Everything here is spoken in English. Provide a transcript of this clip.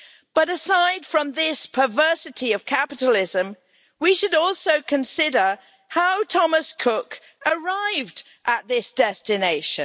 But aside from this perversity of capitalism, we should also consider how Thomas Cook arrived at this destination.